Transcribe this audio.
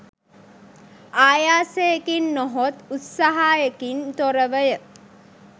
ආයාසයකින් නොහොත් උත්සාහයකින් තොරවය.